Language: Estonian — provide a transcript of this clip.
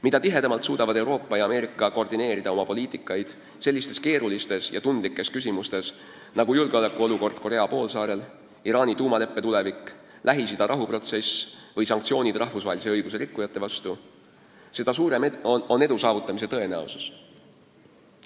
Mida tihedamalt suudavad Euroopa ja Ameerika koordineerida oma poliitikat sellistes keerulistes ja tundlikes küsimustes nagu julgeolekuolukord Korea poolsaarel, Iraani tuumaleppe tulevik, Lähis-Ida rahuprotsess või sanktsioonid rahvusvahelise õiguse rikkujate vastu, seda suurem on edu saavutamise tõenäosus.